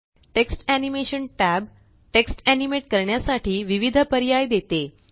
text animation tab text animate करण्यासाठी विविध पर्याय देते